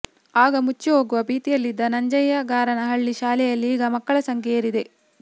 ಆಗ ಮುಚ್ಚಿ ಹೋಗುವ ಭೀತಿಯಲ್ಲಿದ್ದ ನಂಜಯ್ಯಗಾರನಹಳ್ಳಿ ಶಾಲೆಯಲ್ಲಿ ಈಗ ಮಕ್ಕಳ ಸಂಖ್ಯೆ ಏರಿದೆ